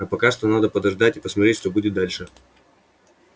а пока что надо подождать и посмотреть что будет дальше